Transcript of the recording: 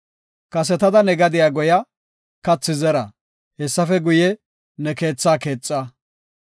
Kasetada ne gadiya goya; kathi zera; hessafe guye, ne keethaa keexa.